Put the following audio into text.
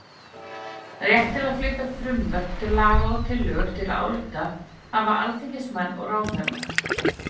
Rétt til að flytja frumvörp til laga og tillögur til ályktana hafa alþingismenn og ráðherrar.